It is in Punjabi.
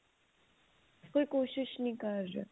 ਕੋਈ ਕੋਸਿਸ਼ ਨਹੀ ਕਰ ਰਿਹਾ